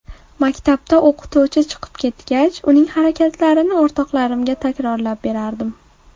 Maktabda o‘qituvchi chiqib ketgach, uning harakatlarini o‘rtoqlarimga takrorlab berardim.